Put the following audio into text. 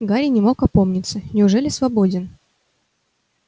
гарри не мог опомниться неужели свободен